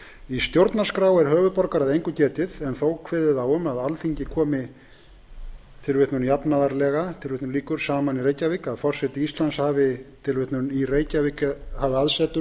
í stjórnarskrá er höfuðborgar að engu getið en þó kveðið á um að alþingi komi jafnaðarlega saman í reykjavík að forseti íslands hafi aðsetur